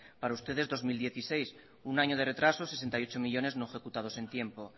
para ustedes dos mil dieciséis un año de retraso sesenta y ocho millónes no ejecutados en tiempo